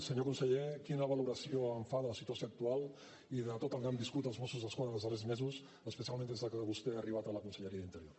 senyor conseller quina valoració fa de la situació actual i de tot el que han viscut els mossos d’esquadra en els darrers mesos especialment des de que vostè ha arribat a la conselleria d’interior